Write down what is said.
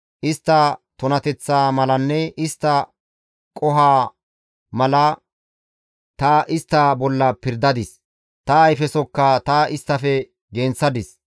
Istta tunateththaa malanne istta qohoza mala ta istta bolla pirdadis; ta ayfesokka ta isttafe genththadis.